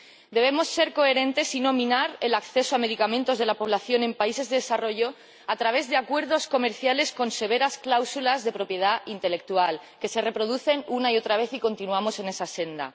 Debemos ser coherentes y no minar el acceso a los medicamentos de la población de los países en desarrollo a través de acuerdos comerciales con severas cláusulas de propiedad intelectual que se reproducen una y otra vez, y continuamos en esa senda.